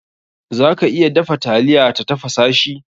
Za ka iya dafa taliya ta tafasa shi.